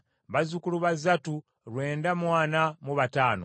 bazzukulu ba Zattu lwenda mu ana mu bataano (945),